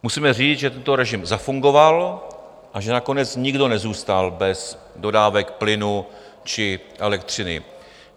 Musíme říct, že tento režim zafungoval a že nakonec nikdo nezůstal bez dodávek plynu či elektřiny.